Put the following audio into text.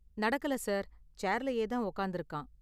நடக்கல சார், சேர்லயே தான் உக்காந்திருக்கான்.